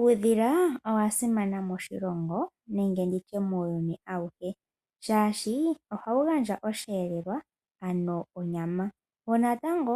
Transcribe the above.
Uudhila owasimana moshilongo nenge nditye muuyuni ayuhe shashi ohawu gandja oshelelwa ano onyama wo natango